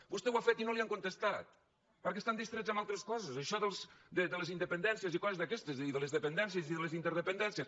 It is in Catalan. vostè ho ha fet i no li han contestat perquè estan distrets amb altres coses això de les independències i coses d’aquestes i de les dependències i de les interdepen·dències